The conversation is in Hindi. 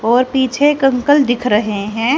और पीछे एक अंकल दिख रहे हैं।